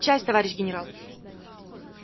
часть товарищ генерал